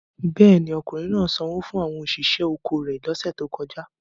Bẹ́ẹ̀ ni, ọkùnrin náà sanwó fún àwọn òṣìṣẹ́ oko rẹ̀ lọ́sẹ̀ tó kọjá.